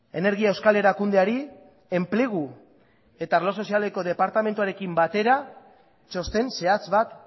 energia euskal erakundeari enplegu eta arlo sozialeko departamentuarekin batera txosten zehatz bat